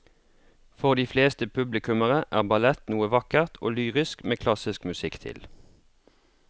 For de fleste publikummere er ballett noe vakkert og lyrisk med klassisk musikk til.